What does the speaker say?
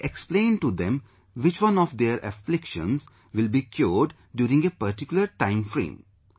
So we explain to them which one of their afflictions will be cured during a particular time frame